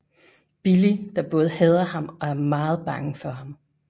Billy der både hader ham og er meget bange for ham